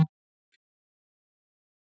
hver er eðlilegur blóðþrýstingur